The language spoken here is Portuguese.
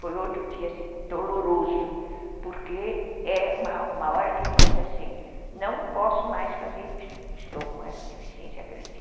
Foi outro dia, assim, doloroso, porque é uma uma hora que ele diz assim, não posso mais fazer isso, estou com essa deficiência grande.